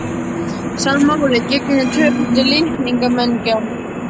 Sama máli gegnir um tvöföldun litningamengja.